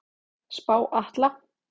Spá Atla